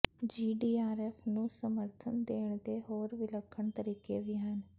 GDRF ਨੂੰ ਸਮਰਥਨ ਦੇਣ ਦੇ ਹੋਰ ਵਿਲੱਖਣ ਤਰੀਕੇ ਵੀ ਹਨ